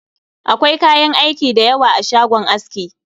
Akwai kayan aiki da yawa a shagon aski